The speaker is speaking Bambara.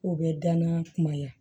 K'o bɛ danan kumaya